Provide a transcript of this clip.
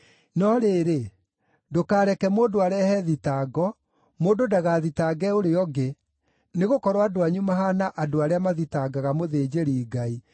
“No rĩrĩ, ndũkareke mũndũ arehe thitango, mũndũ ndagathitange ũrĩa ũngĩ, nĩgũkorwo andũ anyu mahaana andũ arĩa mathitangaga mũthĩnjĩri-Ngai.